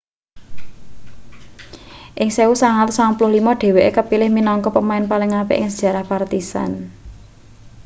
ing 1995 dheweke kapilih minangka pemain paling apik ing sejarah partizan